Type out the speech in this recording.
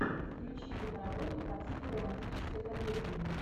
включи кино работу по типу романтической комедии